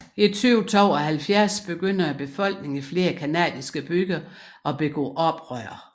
I 2072 begynder befolkningen i flere canadiske byer at begå oprør